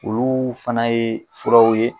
Olu fana ye furaw ye.